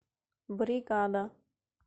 бригада